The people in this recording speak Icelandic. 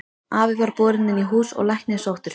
Afi var borinn inn í hús og læknir sóttur.